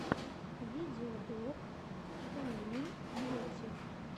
видеоблог уимэн бьюти